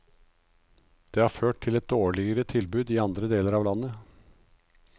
Det har ført til et dårligere tilbud i andre deler av landet.